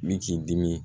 Min k'i dimi